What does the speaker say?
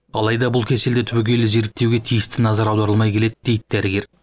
алайда бұл кеселді түбегейлі зерттеуге тиісті назар аударылмай келеді дейді дәрігер